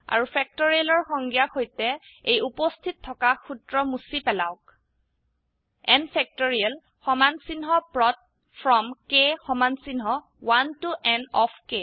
আৰু factorialৰ সংজ্ঞা সৈতে এই উপস্হিত থকা সূত্ৰ মুছি পেলাওক160 N ফেক্টৰিয়েল সমান্চিহ্ন প্ৰদ ফ্ৰম k সমান্চিহ্ন 1 ত n অফ ক